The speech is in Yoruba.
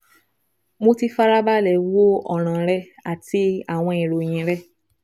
Mo ti farabalẹ̀ wo ọ̀ràn rẹ àti àwọn ìròyìn rẹ